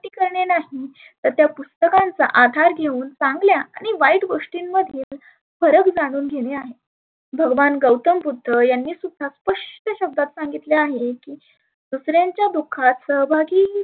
करणे नाही तर त्या पुस्तकांचा आधार घेऊन चांगल्या आणि वाईट गोष्टींमध्ये फरक जाणून घेणे आहे. भगवान गौतम बुद्ध यांनी सुद्धा स्पष्ट शब्दात सांगितले आहे. की दुसऱ्यांच्या दुखात सहभागी